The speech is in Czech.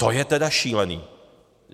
To je tedy šílené.